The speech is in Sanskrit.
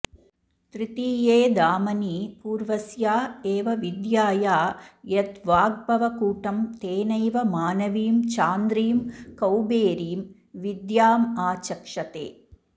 तृतीये धामनि पूर्वस्या एव विद्याया यद्वाग्भवकूटं तेनैव मानवीं चान्द्रीं कौबेरीं विद्यामाचक्षते